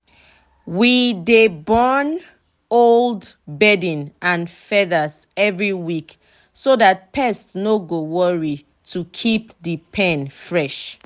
we dey burn old bedding and feathers every week so that pest no go worry and to keep the pen fresh.